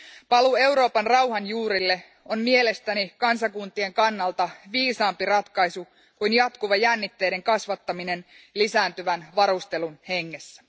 Paluu Euroopan rauhan juurille on mielestäni kansakuntien kannalta viisaampi ratkaisu kuin jatkuva jännitteiden kasvattaminen lisääntyvän varustelun hengessä.